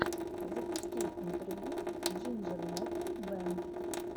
запусти интервью джинджер метал бэнд